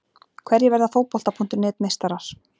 Hverjir verða Fótbolta.net meistarar?